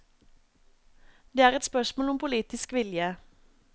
Det er et spørsmål om politisk vilje.